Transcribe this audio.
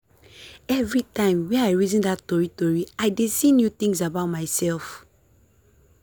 everytime wey i reason that tori tori i dey see new things about myself.